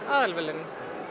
aðalverðlaun